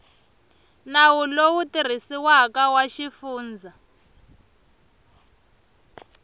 nawu lowu tirhisiwaka wa xifundza